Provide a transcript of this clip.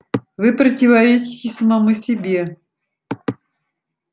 вы противоречите самому себе